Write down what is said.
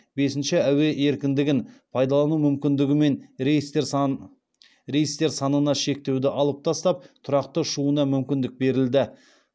бесіншіші әуе еркіндігін пайдалану мүмкіндігімен рейстер санына шектеуді алып тастап тұрақты ұшуына мүмкіндік берілді